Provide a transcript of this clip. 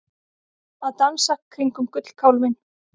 Að dansa kringum gullkálfinn